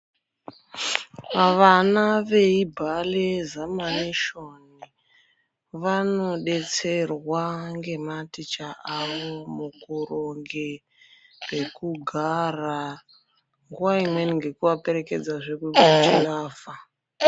Vana veibhale zamanishoni vanodetserwa ngematicha avo mukuronge pekugara. Nguva imweni ngekuvaperekedzazve kuzvilavha.